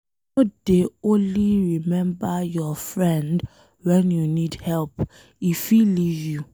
No dey only remember your friend wen you need help, e fit leave you.